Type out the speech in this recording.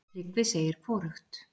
Tryggvi segir hvorugt.